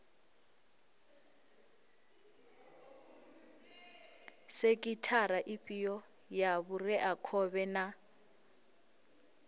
sekhithara ifhio ya vhureakhovhe na